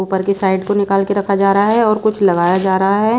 ऊपर की साइड को निकाल के रखा जा रहा है और कुछ लगाया जा रहा है।